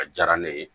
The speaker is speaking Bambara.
A diyara ne ye